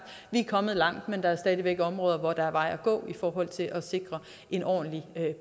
vi kommet langt men der er stadig væk områder hvor der er vej at gå i forhold til at sikre en ordentlig